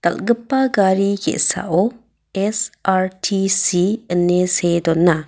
dal·gipa gari ge·sao S_R_T_C ine see dona.